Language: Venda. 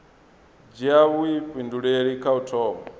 dzhia vhuifhinduleli kha u thoma